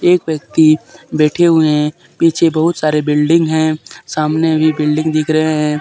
एक व्यक्ति बैठे हुए हैं पीछे बहुत सारे बिल्डिंग हैं सामने अभी बिल्डिंग दिख रहे हैं।